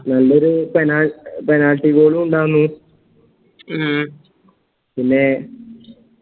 നല്ലൊരു പെ penalty goal ഉം ഉണ്ടായ്ന്നു ഉം പിന്നെ